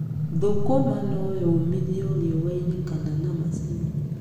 Thũkũma no yũmithio riũa-inĩ kana na macini.